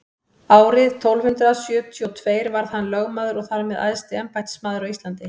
árið tólf hundrað sjötíu og tveir varð hann lögmaður og þar með æðsti embættismaður á íslandi